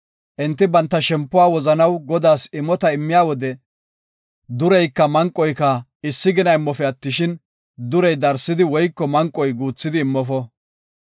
Enti banta shempuwa wozanaw Godaas imota immiya wode, dureyka manqoyka issi gina immofe attishin, durey darsidi woyko manqoy guuthidi immofo.